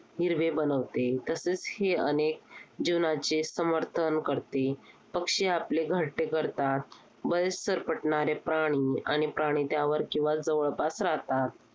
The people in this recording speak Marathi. हिरवे बनवते. तसेच हे अनेक जीवनाचे समर्थन करते. पक्षी आपले घरटे करतात. बरेच सरपटणारे प्राणी आणि प्राणी त्यावर किंवा जवळपास राहतात.